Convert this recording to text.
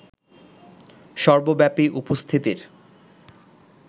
সর্বব্যাপী উপস্থিতির